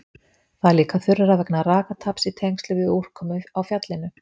Það er líka þurrara vegna rakataps í tengslum við úrkomu á fjallinu.